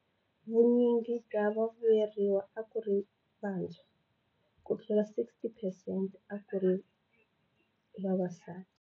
Vunyingi bya vavuyeriwa a ku ri vantshwa, kutlula 60 percent a ku ri vavasati.